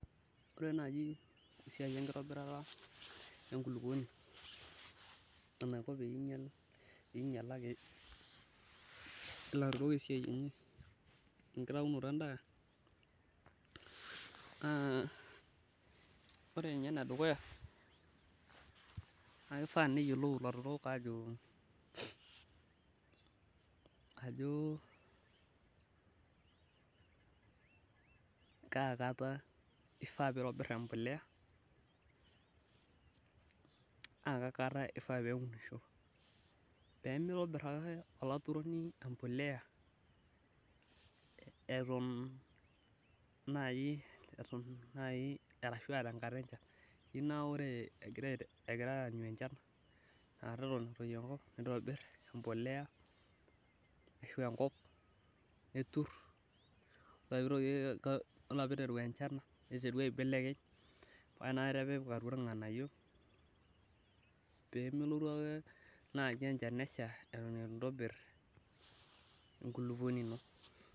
Ore naaji esiai enkitobirata enkulupuoni enaiko pee ingialaki, ore esiai enye enkitaunoto edaa, naa ore ninye ene dukuya, naa kifaa neyiolou ilaturok ajo, kaakata ifaa pee itobir empuliya naa kaakata ifaa pee eunishoi. Pee mitobira ake olaturoni empuliya Eton naaji ashu aa tenkata enchan. Naa ore egira aanyu enchan, nitobir empuliya, aashu enkop neturi, ore pee iteru enchan niteru aibelekeny, ore pee etum ilnganayio pee melontu ake naaji enchan nesha Eton eitu intoobir enkulupuoni ino.